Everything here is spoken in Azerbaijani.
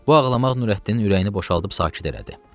Bu ağlamaq Nurəddinin ürəyini boşaldıb sakit elədi.